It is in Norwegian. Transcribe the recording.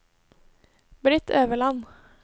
Britt Øverland